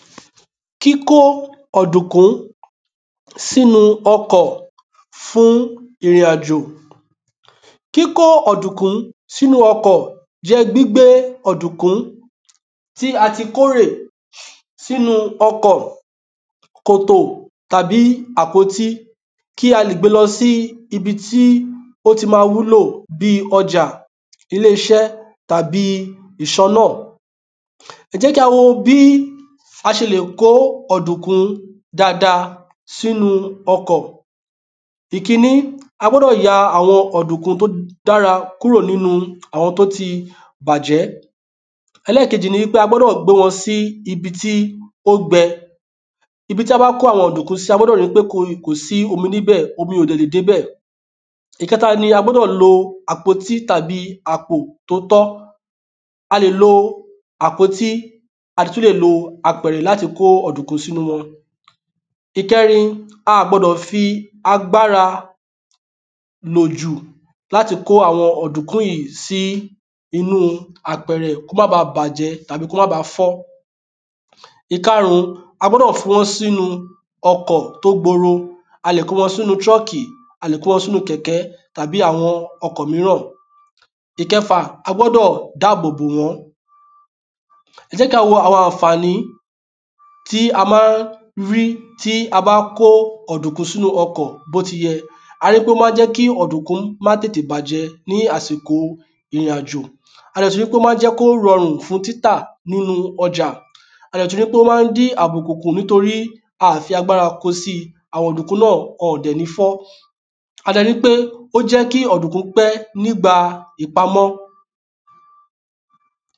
Kíkó ọ̀dùnkún sínu ọkọ̀ fún ìrìn àjò kíkó ọ̀dùnkún sínu ọkọ̀ jẹ́ gbígbe ọ̀dùnkún tí a ti kórè sínu ọkọ̀, kòtò, tàbí àpótí, kí á lè gbé e lọ síbi tó ti máa wúlò, bíi ọjà, ilé-iṣẹ́ tàbí ìṣọ́nà ẹ jẹ́ ka wo bí a ṣe lè kó ọ̀dùnkún dáadáa sínu ọkọ̀ ikini. A gbọdọ ya awọnọdunkun ti o dara kuro ninu àwọn tó ti bàjẹ́ ẹlẹ́kejì ni pé a gbọ́dọ̀ gbé wọn síbi tó gbẹ, ibi tí a bá gbé ọ̀dùnkún sí, a gbọ́dọ̀ ríi pé omi ò dé bẹ̀, pé omi ò lè dé ibẹ̀ ìkẹta ni pé a gbọ́dọ̀ lo àpò tàbí àpótí tí ó tọ́, a lè lo àpóti, tàbí apẹ̀rẹ̀ láti kó ọ̀dùnkún sínu rẹ̀ a ò gbọdọ̀ fi agbára lò jú láti kó àwọn ọ̀dùnkún yìí sínu apẹ̀rẹ̀ kí ó má ba bàjẹ́ tàbí kó ma baà fọ́ ìkarùn ún, a gbọ́dọ̀ fi wọ́n sínu ọkọ̀ tí ó gbòòrò, a lè kó wọn sínu truck, a lè kó wọn sínu kẹ̀kẹ́ tàbí ọkọ̀ míràn ìkẹfà, a gbọ́dọ̀ dáàbò bò wọ́n, ẹ jẹ́ ká wo àwọn àǹfàní tí a máa rí tí a bá kó ọ̀dùnkún sínu ọkọ̀ bí ó ti yẹ a ríi pé ó ma ń jẹ kí ọ̀dùnkún má tètè bàjẹ́ ní àsìkò ìrìn àjò, a dẹ̀ tún ríi pé o ma ń jẹ́ kí ó rọrùn fún títà nínu ọjà a dẹ̀ tún ríi pé ó máa dín àbùkù kù torí a óò fi agbára kóo síi, àwọn ọ̀dùnkún náà, wọ́n ò dẹ̀ ní fọ́, a dẹ̀ ríi pé ó jẹ́ kí ọ̀dùnkún pé nígbà ìpamọ